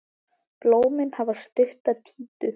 Blómin hafa stutta títu.